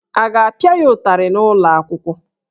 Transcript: A ga-apịa ya ụtarị n'ụlọ akwụkwọ?